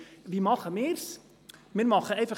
Wir fahren um 17.00 Uhr weiter.